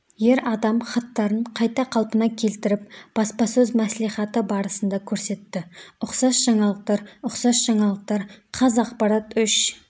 ер адам хаттарын қайта қалпына келтіріп баспасөз мәслихаты барысында көрсетті ұқсас жаңалықтар ұқсас жаңалықтар қазақпарат үш